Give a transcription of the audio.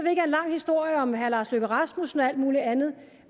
lang historie om herre lars løkke rasmussen og alt muligt andet